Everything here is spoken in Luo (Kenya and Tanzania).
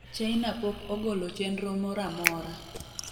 China pok ogolo chenro mora amora